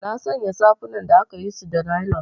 Nasanya safunan da akayisu da nailan.